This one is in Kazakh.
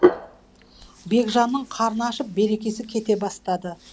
бекжанның қарны ашып берекесі кете бастады